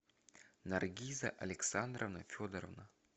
наргиза александровна федорова